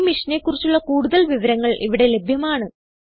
ഈ മിഷനെ കുറിച്ചുള്ള കുടുതൽ വിവരങ്ങൾ ഇവിടെ ലഭ്യമാണ്